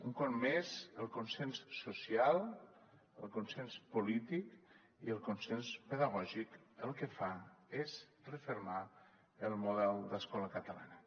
un cop més el consens social el consens polític i el consens pedagògic el que fan és refermar el model d’escola catalana